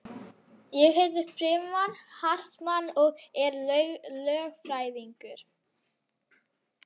Ég heiti Frímann Hartmann og er lögfræðingur